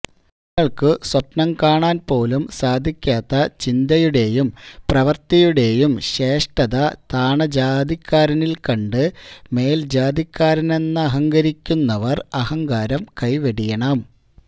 തങ്ങള്ക്കു സ്വപ്നം കാണാന് പോലും സാധിക്കാത്ത ചിന്തയുടെയും പ്രവൃത്തിയുടെയും ശ്രേഷ്ഠത താണജാതിക്കാരനില് കണ്ട് മേല്ജാതിക്കാരനെന്നഹങ്കരിക്കുന്നവര് അഹങ്കാരം കൈവെടിയണം